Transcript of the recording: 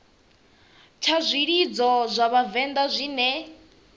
tsha zwilidzo zwa vhavenḓa zwine